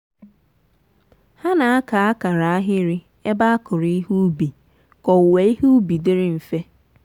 ha na-aka akara ahịrị ebe a kụrụ ihe ubi ka owuwe ihe ubi dịrị mfe.